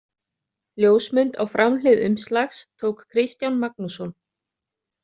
Ljósmynd á framhlið umslags tók Kristján Magnússon.